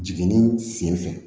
Jiginni senfɛ